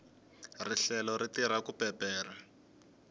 rihlelo ri tirha ku peperha